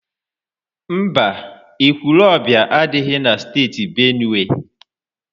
Mba, Ekwulobia adịghị na Steeti Benue.